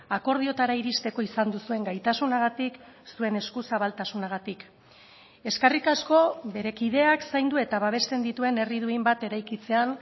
akordioetara iristeko izan duzuen gaitasunagatik zuen eskuzabaltasunagatik eskerrik asko bere kideak zaindu eta babesten dituen herri duin bat eraikitzean